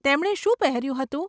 તેમણે શું પહેર્યું હતું?